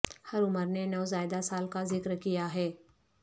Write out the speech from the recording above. ہر عمر نے نوزائیدہ سال کا ذکر کیا ہے